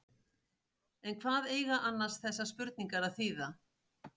En hvað eiga annars þessar spurningar að þýða?